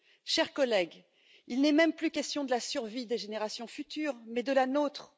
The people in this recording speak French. Chers collègues, il n'est même plus question de la survie des générations futures, mais de la nôtre.